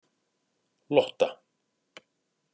Lotta